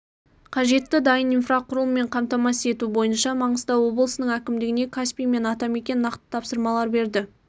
қажетті дайын инфрақұрылыммен қамтамасыз ету бойынша маңғыстау облысының әкімдігіне каспий мен атамекен нақты тапсырмалар берді